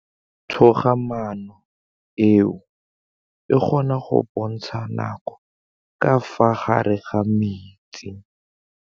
Toga-maanô e, e kgona go bontsha nakô ka fa gare ga metsi.